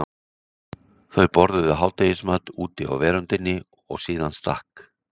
Þau borðuðu hádegismat úti á veröndinni og síðan stakk